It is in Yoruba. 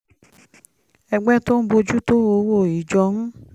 ẹgbẹ́ tó ń bójú tó owó ìjọ ń